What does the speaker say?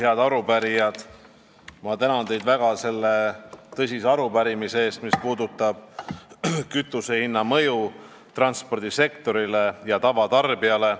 Head arupärijad, ma tänan teid väga selle tõsise arupärimise eest, mis puudutab kütusehinna mõju transpordisektorile ja tavatarbijale.